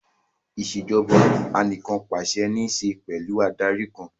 Ìṣèjoba Anìkànpàṣẹ ní ṣe pẹ̀lú Adarí kan